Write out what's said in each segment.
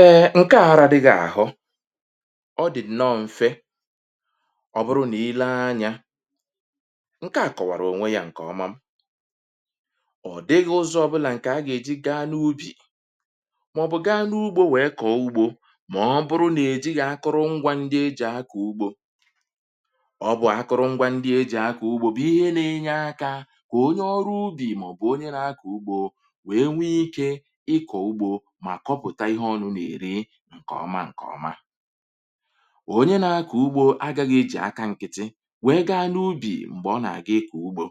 Eè ǹke ara dị gà àhụ. ọ dị̀ nnọọ̇ m̀fe ọ bụrụ nà i lee anyȧ ǹke à kọ̀wàrà ònwe yȧ ǹkè ọma. ọ̀ dịghị̇ ụzọ̇ bụlà ǹkè a gà-èji gaa n’ubì, màọ̀bụ̀ gaa n’ugbȯ wèe kọ̀ ugbȯ, màọ̀bụ̀ ọ bụrụ nà-èji yȧ akụrụ ngwȧ ndị e jì akà ugbȯ. ọ bụ̀ àkụrụ ngwȧ ndị e jì akà ugbȯ bụ̀ ihe nȧ-enye akȧ kà onye ọrụ ugbì màọ̀bụ̀ onye nȧ-akà ugbȯ mà kọpụ̀ta ihe ọnụ nà-èri ǹkè ọma ǹkè ọma à. onye na-akọ̀ ugbo agȧghị̇ ejì aka ǹkịtị wèe gaa n’ubì m̀gbè ọ nà-àga ịkọ̀ ugbo.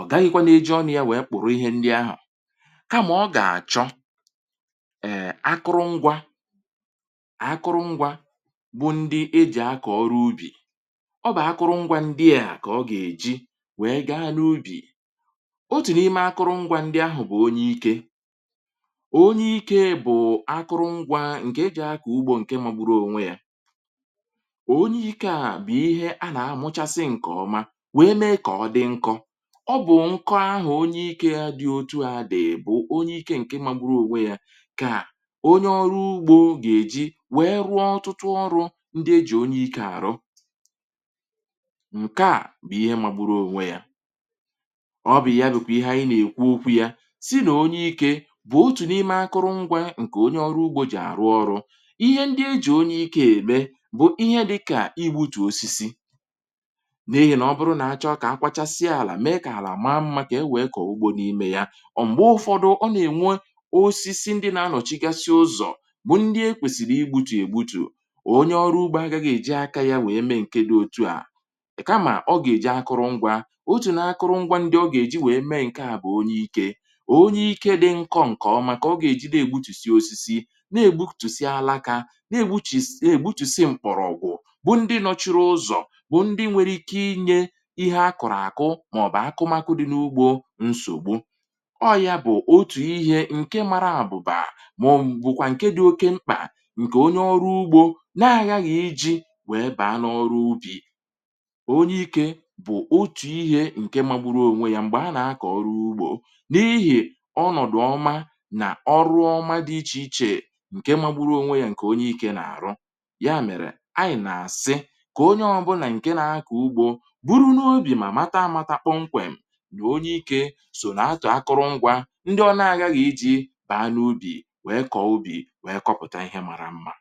ọ̀ gaghịkwa nà-eji ọ nà ya wèe kpọ̀rọ̀ ihe ndị ahụ̀, kamà ọ gà-àchọ ẹ̀ akụrụṅgwa akụrụṅgwa bụ ndị ejì akọ̀ ọrụ ubì, ọ bà akụrụṅgwa ndị à kà ọ gà-èji wèe gaa n’ubì. otù n’ime akụrụṅgwa ndị ahụ̀ bụ̀ onye ike. onye ike bụ̀ akụrụ ngwȧ ǹke eji̇ akọ̀ ugbȯ ǹke magbụrụ ònwe yȧ, onye ike à bụ̀ ihe a nà-amụchasị ǹkè ọma, wee mee kà ọ dị nkọ. ọ bụ̀ ǹkọ ahụ̀ onye ike dị otu à dị̀ bụ̀ onye ike ǹke magbụrụ ònwe yȧ kà onye ọrụ ugbȯ gà-èji wèe rụọ ọtụtụ ọrụ̇ ndị e jì onye ike àrụ, ǹke à bụ̀ ihe magbụrụ ònwe yȧ. ọ bụ̀ ya bụ̀kwà ihe anyị nà-èkwu okwu yȧ, sị na ọnye ịke bụ ọtụ n ịme akụrụngwa nke onye ọrụ ugbȯ jì àrụ ọrụ, ihe ndị e jì onye ikė ème bụ̀ ihe dịkà igbutù osisi, n’ihì nà ọ bụrụ nà acha ọkà a kwachasịa àlà mee kà àlà àma mmȧ kà e wèe kọ̀ọ ugbȯ n’ime ya. ọ̀ m̀gbè ụfọdụ ọ nà-ènwe osisi ndị na-anọ̀chigasịa ụzọ̀ bụ̀ ndị e kwèsìrì igbutù egbutù, o onye ọrụ ugbȯ agȧghi èji aka ya nwèe mee ǹke dị otu, à kamà ọ gà-èji akụrụ ngwa. otù n’akụrụ ngwa ndị ọ gà-èji nwèe mee ǹke àbụ̀ onye ike, onye ịke dị nkọ nke ọma ka ọga ejị na egbụtụsị ọsịsị, na-ègbutùsi ala kà, na-ègbutùsi mkpọrọgwụ̀ bụ ndị nọ̀churu ụzọ̀ bụ ndị nwere ike inye ihe akụ̀rụ̀ àkụ màọbụ̀ akụmakụ dị n’ugbȯ nsògbu. ọyȧ bụ̀ otù ihe ǹke mara àbụ̀bà, màọ̀bụ̀kwà ǹke dị oke mkpà, ǹkè onye ọrụ ugbȯ na-agaghị iji wee bàa n’ọrụ ubi. Ọnye ike bụ̀ otù ihe ǹke magbụrụ onwe yȧ m̀gbè a nà-akọ̀ ọrụ ugbȯ. n’ihì ọnọdụ ọma na ọrụ ọma dị ịche ịche ǹkè mȧgburu̇ ònwe yȧ ǹkè onye ikė n’àrụ. yȧ mèrè anyị̀ nà-àsị, kà onye ọbụnà ǹke nȧ-ȧkọ̀ ugbȯ buru n’ubì mà mata amȧta kpụkpụ nkwèm, nà onye ikė sò nà atụ̀ akụrụ ngwȧ ndị ọlȧȧghi ji bàa n’ubì wèe kọ̀obi wèe kọpụ̀ta ihe màrà mmȧ.